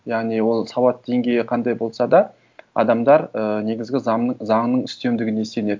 яғни ол сауат деңгейі қандай болса да адамдар і негізгі заңның үстемдігіне сенеді